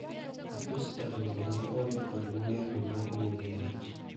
Apis jagoro ne onge kod muya no mar nego mach